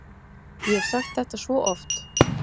Ég hef sagt þetta svo oft.